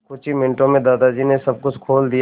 कुछ ही मिनटों में दादाजी ने सब कुछ खोल दिया